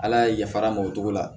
Ala ye yafara m'o cogo la